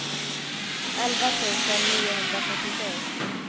elva tusen niohundrafyrtiosju